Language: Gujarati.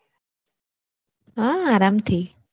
હા આરામથી